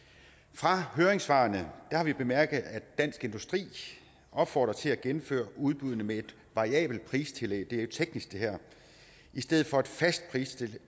fra høringssvarene har vi bemærket at dansk industri opfordrer til at gennemføre udbuddene med et variabelt pristillæg det jo teknisk i stedet for et fastpristillæg